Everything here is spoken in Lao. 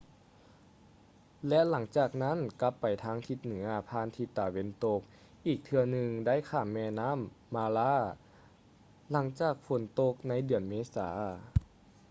ແລະ ຫຼັງຈາກນັ້ນກັບໄປທາງທິດເໜືອຜ່ານທິດຕາເວັນຕົກ ອີກເທື່ອໜຶ່ງໄດ້ຂ້າມແມ່ນໍ້າ mara ຫລັງຈາກຝົນຕົກໃນເດືອນເມສາ